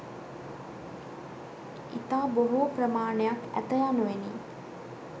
ඉතා බොහෝ ප්‍රමාණයක් ඇත යනුවෙනි.